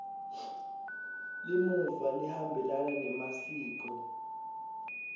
limuva lihambelana nemasiko